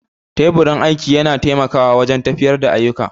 Teburin aiki yana taimakawa wajen tafiyar da ayyuka